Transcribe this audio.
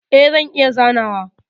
E, zan iya zanawa.